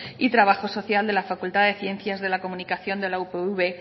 y trabajo social de la facultad de ciencias de comunicación de la upv